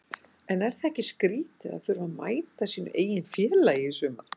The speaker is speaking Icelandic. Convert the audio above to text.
En er ekki skrítið að þurfa að mæta sínu eigin félagi í sumar?